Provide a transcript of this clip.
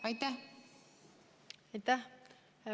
Aitäh!